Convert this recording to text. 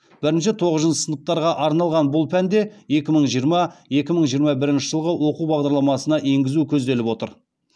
бірінші тоғызыншы сыныптарға арналған бұл пәнде екі мың жиырма екі мың жиырма бірінші жылғы оқу бағдарламасына енгізу көзделіп отыр